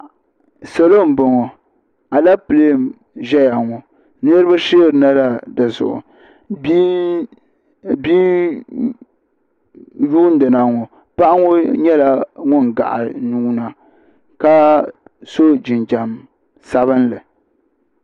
Salo n bɔŋɔ aleple n zɛya ŋɔ niriba sheeri na la di zuɣu bia yundi na ŋɔ paɣa ŋɔ nyɛla ŋuni gahi nuu na ka so jinjam sabinli.